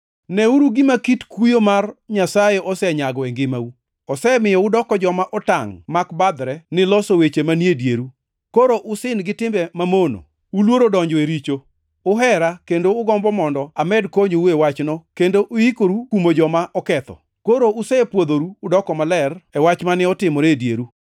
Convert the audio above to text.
Neuru gima kit kuyo mar Nyasaye osenyago e ngimau: osemiyo udoko joma otangʼ mak badhre ni loso weche manie dieru. Koro usin gi timbe mamono; uluoro donjo e richo; uhera kendo ugombo mondo amed konyou e wachno kendo uikoru kumo joma oketho. Koro usepwodhoru udoko maler e wach mane otimore e dieru.